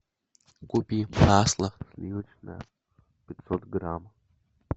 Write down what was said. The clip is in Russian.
купи масло сливочное пятьсот грамм